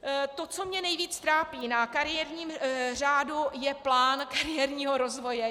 To, co mě nejvíce trápí na kariérním řádu, je plán kariérního rozvoje.